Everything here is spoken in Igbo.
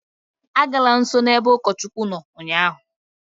Agala nsọ n'ebe ụkọchukwu nọ ụnyaahụ!